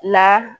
La